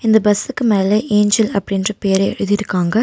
இந்த பஸ்சுக்கு மேல ஏஞ்சல் அப்படி என்ற பேர எழுதிருக்காங்க.